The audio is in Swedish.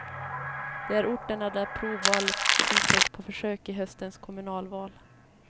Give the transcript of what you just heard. Det är orterna där provval införs på försök i höstens kommunalval.